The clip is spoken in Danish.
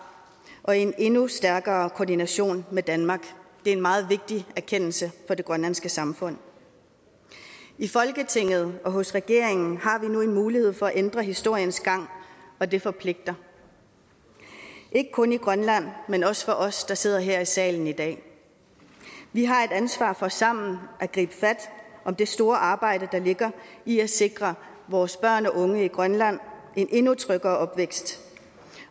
og i en endnu stærkere koordination med danmark det er en meget vigtig erkendelse for det grønlandske samfund i folketinget og hos regeringen har vi nu en mulighed for at ændre historiens gang og det forpligter ikke kun i grønland men også for os der sidder her i salen i dag vi har et ansvar for sammen at gribe fat om det store arbejde der ligger i at sikre vores børn og unge i grønland en endnu tryggere opvækst